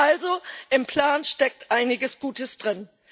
Also, im Plan steckt einiges Gutes drin.